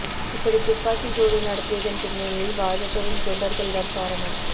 இப்படி துப்பாக்கிச் சூடு நடத்தியதன் பின்னணியில் பாஜகவின் குண்டர்கள் தான் காரணம்